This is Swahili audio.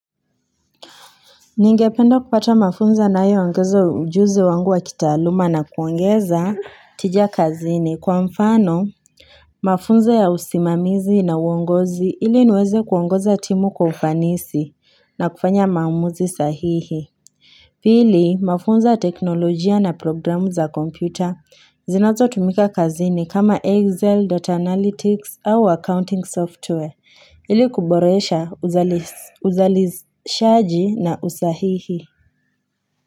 Ningependa kupata mafunzo yanayoongeza ujuzi wangu wa kitaaluma na kuongeza tija kazini kwa mfano mafunzo ya usimamizi na uongozi ili niweze kuongoza timu kwa ufanisi na kufanya maumuzi sahihi. Pili, mafunzo ya teknolojia na programu za kompyuta zinazotumika kazini kama Excel, data Analytics au accounting software ili kuboresha uzalishaji na usahihi.